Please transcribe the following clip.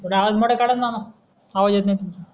बर आवाज मोठा काडाणा मामा आवाज येत नाही तुमचा